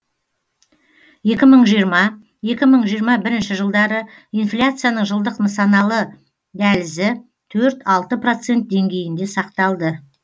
екі мың жиырма екі мың жиырма бірінші жылдары инфляцияның жылдық нысаналы дәлізі төрт алты процент деңгейінде сақталды